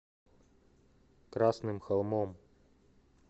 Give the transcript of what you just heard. красным холмом